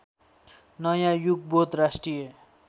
नयाँ युगबोध राष्ट्रिय